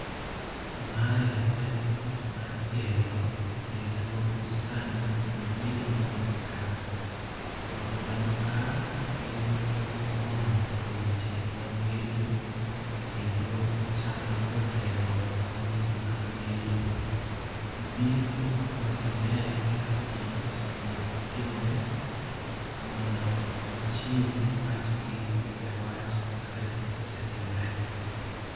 Mae en ot ma igero kendo gisani jogedo onge ka. Jok man ka gin jok molony e weche mag gedo. Kendo gichalo jotelo mag weche mag gedo. Gibiro mondo gine kaka tich osebedo ka timore mondo gichiw pachgi e wach kaka tich osetimore.